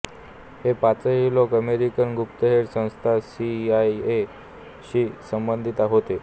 हे पाचही लोक अमेरिकन गुप्तहेर संस्था सी आय ए शी संबंधीत होते